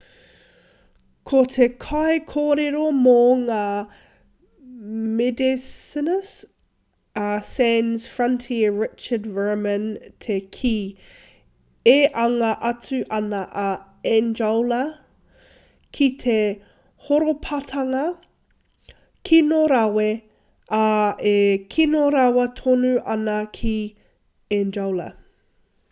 ko te kaikorero mō ngā medecines a sans frontiere richard veerman te kī e anga atu ana a angola ki te horapatanga kino rawa ā e kino rawa tonu ana ki angola